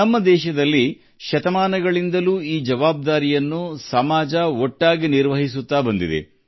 ನಮ್ಮ ದೇಶದಲ್ಲಿ ಶತಮಾನಗಳಿಂದ ಈ ಜವಾಬ್ದಾರಿಯನ್ನು ಸಮಾಜವು ಒಗ್ಗೂಡಿ ನಿಭಾಯಿಸುತ್ತಿದೆ